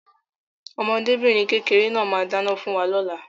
Ọmọdébìnrin kékeré náà máa dáná fún wa lóla.